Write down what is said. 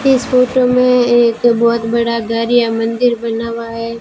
इस फोटो में एक बहोत बड़ा घर या मंदिर बना हुआ है।